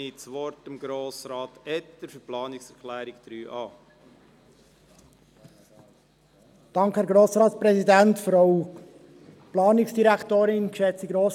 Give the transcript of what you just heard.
Ich gebe Grossrat Etter das Wort zur Begründung der Planungserklärung 3a.